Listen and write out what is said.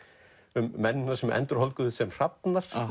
um mennina sem sem hrafnar